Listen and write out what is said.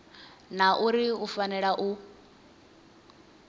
na uri u fanela u